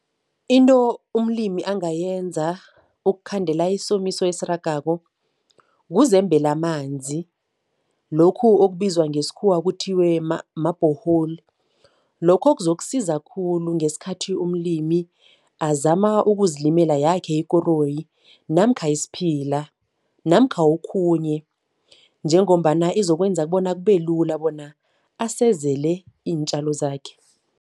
Into umlimi angayenza ukukhandela isomiso esiragako kuzembela amanzi, lokhu okubizwa ngesikhuwa kuthiwe ma-borehole. Lokho kuzokusiza khulu ngesikhathi umlimi azama ukuzilimela yakhe ikoroyi namkha isiphila namkha okhunye njengombana izokwenza bona kube lula bona asezele iintjalo zakhe.